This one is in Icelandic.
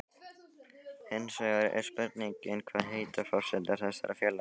Hinsvegar er spurningin, hvað heitar forsetar þessara félaga?